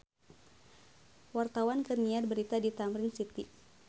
Wartawan keur nyiar berita di Tamrin City